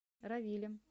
равилем